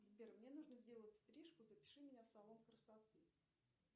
сбер мне нужно сделать стрижку запиши меня в салон красоты